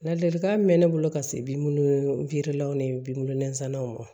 Ladilikan min bɛ ne bolo ka se bi weerelan ni bilon nansanw ma